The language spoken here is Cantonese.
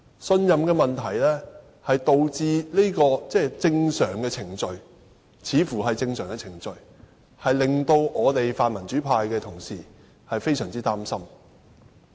信任問題導致這項看似正常的程序令泛民主派議員非常擔心。